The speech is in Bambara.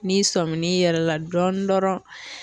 N'i sɔmin'i yɛrɛ la dɔɔnin dɔrɔn